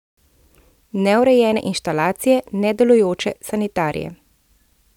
Neurejene inštalacije, nedelujoče sanitarije ...